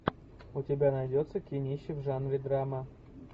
у тебя найдется кинище в жанре драма